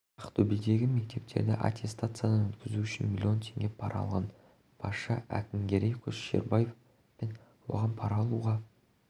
ақтөбедегі мектептерді аттестациядан өткізу үшін миллион теңге пара алған басшы әкімгерей көшербаев пен оған пара алуға